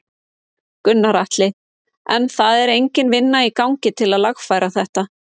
Gunnar Atli: En það er engin vinna í gangi til að lagfæra þetta?